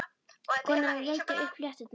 Konan er að rekja upp flétturnar.